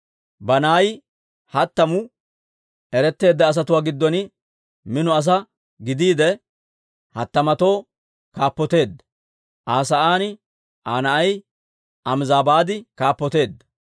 Banaayi hattamu eretteedda asatuwaa giddon mino asaa gidiide, hattamatoo kaappoteedda. Aa sa'aan Aa na'ay Amizabaadi kaappoteedda.